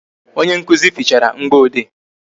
Onye nkụzi fichara mgboede